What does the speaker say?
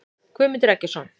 Guðmundur Eggertsson.